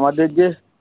আমাদের যে